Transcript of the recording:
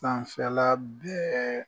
Sanfɛla bɛɛ.